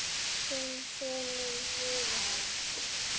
Þinn sonur, Viðar.